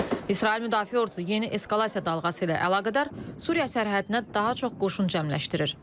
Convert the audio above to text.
İsrail Müdafiə Ordusu yeni eskalasiya dalğası ilə əlaqədar Suriya sərhədinə daha çox qoşun cəmləşdirir.